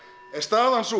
er staðan sú